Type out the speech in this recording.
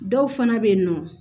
Dɔw fana bɛ yen nɔ